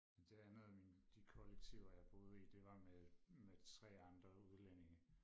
Det andet af mine de kollektiver jeg boede i det var med med tre andre udlændinge